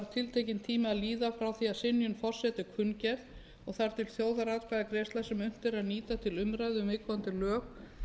tími að líða frá því að synjun forseta er kunngerð og þar til þjóðaratkvæðagreiðslan sem unnt er að nýta til umræðu um viðkomandi lög